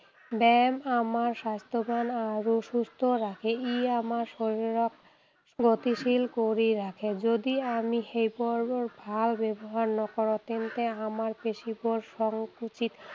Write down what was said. ব্যায়ামে আমাক স্বাস্থ্যৱান আৰু সুস্থ ৰাখে। ই আমাৰ শাৰীৰিক গতিশীল কৰি ৰাখে। যদি আমি সেইবোৰৰ ভাল ব্যৱহাৰ নকৰোঁ, তেন্তে আমাৰ পেশীবোৰ সংকুচিত